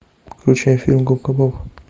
включай фильм губка боб